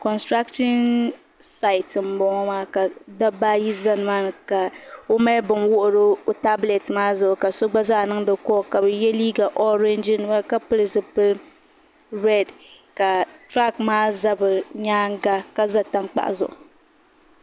Konstirakshin sayite n bɔŋo ka dabba ayi zaya nima ni ka o mali bini wuhiri o taabilɛti zuɣu ka so gba zaa niŋda kɔll ka bi yɛ liiga ɔrɛɛnji nima ka pili zipili rɛd tiraak maa za bi nyaanga ka za tankpaɣu zuɣu.